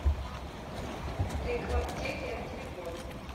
лекваптеке телефон